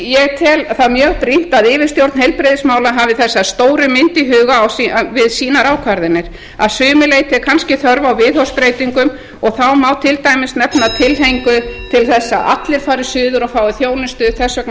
ég tel það mjög brýnt að yfirstjórn heilbrigðismála hafi þessa stóru mynd í huga við sínar ákvarðanir að sumu leyti er kannski þörf á viðhorfsbreytingum og þá má til dæmis nefna tilhneigingu til að allir fari suður og fái þjónustu þess vegna